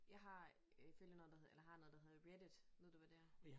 Jeg har øh følger noget der hedder eller har noget der hedder reddit ved du hvad det er?